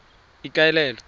ikaelele